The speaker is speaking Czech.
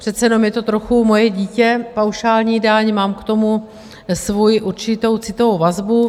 Přece jenom je to trochu moje dítě, paušální daň, mám k tomu svoji určitou citovou vazbu.